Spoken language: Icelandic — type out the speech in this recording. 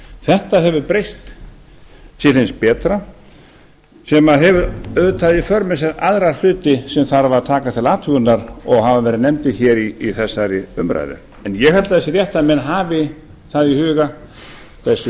þetta hefur breyst til hins betra sem hefur auðvitað í för með sér aðra hluti sem þarf að taka til athugunar og hafa verið nefndir hér í þessari umræðu en ég held að það sé rétt að menn hafi að í huga hversu